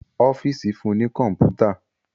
Ọ́fíìsì fún ní kọ̀mpútà